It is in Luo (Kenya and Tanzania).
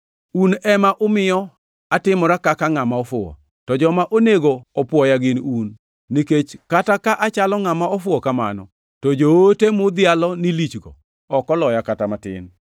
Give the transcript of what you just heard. Un ema umiyo atimora kaka ngʼama ofuwo. To joma onego opwoya gin un, nikech kata ka achalo ngʼama ofuwo kamano, to joote mudhialo ni lichgo ok oloya kata matin.